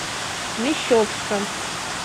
мещовска